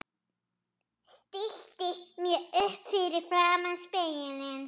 Stilli mér upp fyrir framan spegilinn.